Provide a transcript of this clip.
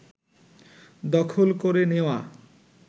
দখল করে নেওয়া